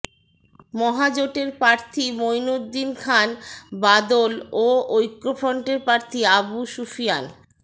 মহাজোটের প্রার্থী মঈনুদ্দীন খান বাদল ও ঐক্যফ্রন্টের প্রার্থী আবু সুফিয়ান